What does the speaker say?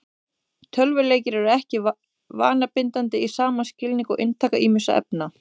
Tölvuleikir eru ekki vanabindandi í sama skilningi og inntaka ýmissa efna.